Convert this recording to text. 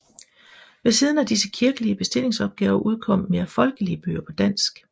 Ved siden af disse kirkelige bestillingsopgaver udkom mere folkelige bøger på dansk